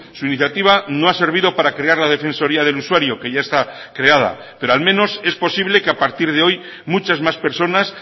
su iniciativa no ha servido para crear la defensoría del usuario que ya está creada pero al menos es posible que a partir de hoy muchas más personas